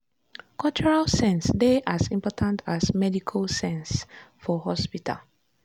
cultural sense dey as important as medical sense for hospital.